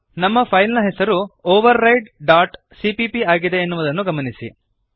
ನಮ್ಮ ಫೈಲ್ ನ ಹೆಸರು overrideಸಿಪಿಪಿ ಆಗಿದೆ ಎನ್ನುವುದನ್ನು ಗಮನಿಸಿರಿ